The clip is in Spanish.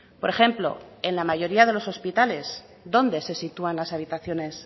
por ejemplo en la mayoría de los hospitales dónde se sitúan las habitaciones